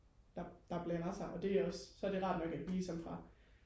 der blander sig og det er også så er det rart nok at vi sådan ligesom fra